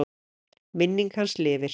Minning hans lifir.